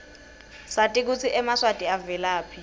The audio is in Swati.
sati kutsi emaswati avelaphi